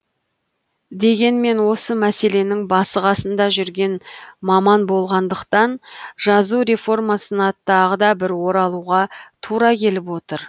дегенмен осы мәселенің басы қасында жүрген маман болғандықтан жазу реформасына тағы да бір оралуға тура келіп отыр